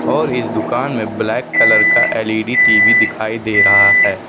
और इस दुकान में ब्लैक कलर का एल_इ_डी टी_वी दिखाई दे रहा है।